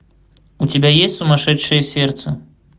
у тебя есть сумасшедшее сердце